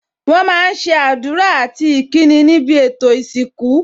Wọn máa ń ṣe àdúrà àti ìkíni níbi ètò ìsìnkú